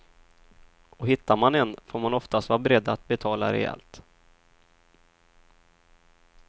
Och hittar man en får man oftast vara beredd att betala rejält.